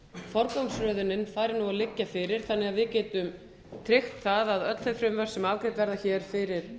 forgangsröðunin fari að liggja fyrir þannig að við getum tryggt það að öll þau frumvörp sem afgreidd verða fyrir